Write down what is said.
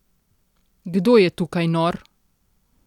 Kdo je tukaj nor?